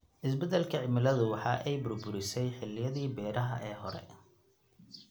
Isbeddelka cimiladu waxa ay burburisay xilliyadii beeraha ee hore.